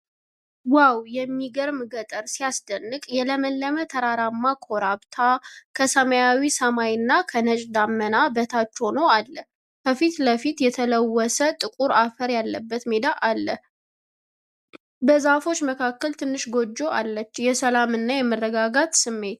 ዋው! የሚያምር ገጠር ሲያስደንቅ! የለመለመ ተራራማ ኮረብታ ከሰማያዊ ሰማይና ከነጭ ደመና በታች ሁኖ አለ። ከፊት ለፊት፣ የተለወሰ ጥቁር አፈር ያለበት ሜዳ አለ። በዛፎች መካከል ትንሽ ጎጆ አለች። የሰላም እና የመረጋጋት ስሜት።